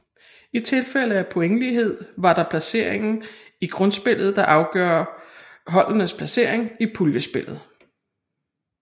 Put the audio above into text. I tilfælde af pointlighed var det placeringen i grundspillet der afgør holdenes placering i puljespillet